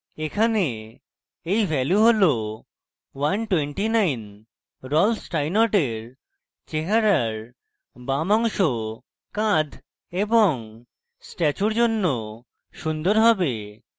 এখানে এই value 129 Rolf স্টাইনর্টের চেহারার বাম অংশ কাঁধ এবং statue জন্য সুন্দর হবে